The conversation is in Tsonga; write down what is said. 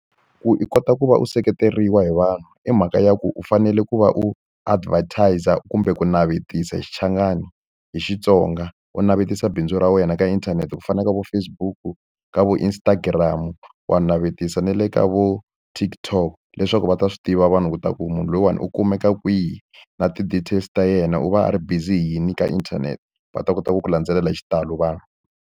Ku i kota ku va u seketeriwa hi vanhu i mhaka ya ku u fanele ku va u advertise-a kumbe ku navetisa hi xichangani, hi Xitsonga. U navetisa bindzu ra wena ka inthanete ku fana na vo Facebook, ka vo Instagram. Wa navetisa na le ka vo TikTok leswaku va ta swi tiva vanhu leswaku u munhu loyiwani u kumeka kwihi. Na ti-details ta yena u va a ri busy hi yini ka inthanete, va ta kota ku ku landzelela hi xitalo vanhu.